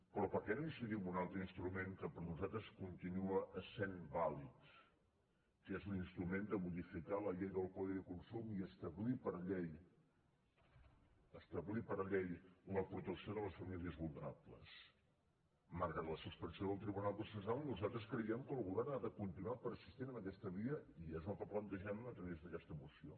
però per què no incidir en un altre instrument que per nosaltres continua essent vàlid que és l’instrument de modificar la llei del codi de consum i establir per llei establir per llei la protecció de les famílies vulnerables malgrat la suspensió del tribunal constitucional nosaltres creiem que el govern ha de continuar persistint en aquesta via i és el que plantegem a través d’aquesta esmena